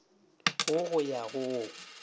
wo go ya go wo